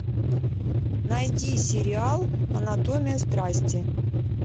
найди сериал анатомия страсти